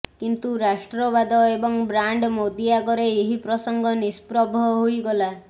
କିନ୍ତୁ ରାଷ୍ଟ୍ରବାଦ ଏବଂ ବ୍ରାଣ୍ଡ ମୋଦୀ ଆଗରେ ଏହି ପ୍ରସଙ୍ଗ ନିଷ୍ପ୍ରଭ ହୋଇଗଲା